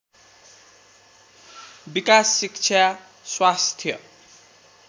विकास शिक्षा स्वास्थ्य